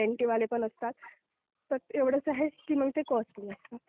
ग्यारंटीवाले पण असतात. बस एवढंच आहे की मग ते कॉस्टली असतात.